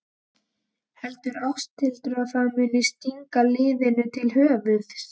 Heldur Ásthildur að það muni stíga liðinu til höfuðs?